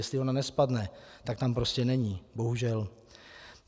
Jestli ona nespadne, tak tam prostě není, bohužel.